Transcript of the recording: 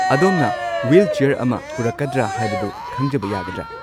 ꯑꯗꯣꯝꯅ ꯋ꯭ꯍꯤꯜꯆꯦꯌꯔ ꯑꯃ ꯄꯨꯔꯛꯀꯗ꯭ꯔ ꯍꯥꯏꯕꯗꯨ ꯈꯪꯖꯕ ꯌꯥꯒꯗꯔꯥ꯫